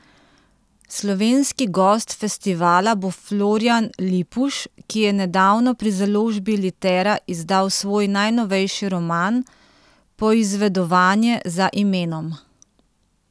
Slovenski gost festivala bo Florjan Lipuš, ki je nedavno pri založbi Litera izdal svoj najnovejši roman Poizvedovanje za imenom.